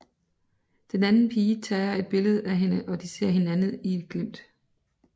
Den anden pige tager et billede af hende og de ser hinanden i et glimt